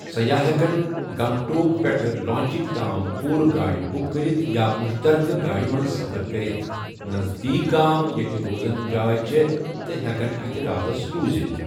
سیاح ہٮ۪کن گنگ ٹوک پٮ۪ٹھٕ لاچنگ تام پورٕ گاڑِ بُک کٔرِتھ یا مُشترکہٕ گاڑِ منز سفر كرِتھ ، نزدیک گام ییٚتہِ روزنٕ جاے چھےٚ تہ ہیٮ۪کن اتہِ راتس روُزِتھ ۔